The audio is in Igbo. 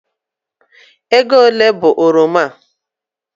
Ego ole bụ oroma a?